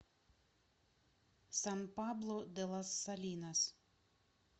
сан пабло де лас салинас